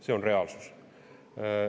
See on reaalsus.